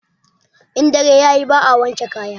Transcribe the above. In dare yayi ba a wanke kaya